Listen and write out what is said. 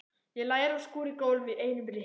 Ég lærði að skúra gólf í einum rykk.